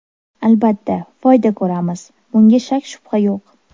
Albatta, foyda ko‘ramiz, bunga shak-shubha yo‘q.